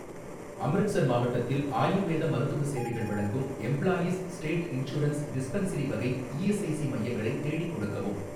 அம்ரிட்சர் மாவட்டத்தில் ஆயுர்வேத மருத்துவ சேவைகள் வழங்கும் எம்ப்ளாயீஸ் ஸ்டேட் இன்சூரன்ஸ் டிஸ்பென்சரி வகை இஎஸ்ஐசி மையங்களை தேடிக் கொடுக்கவும்.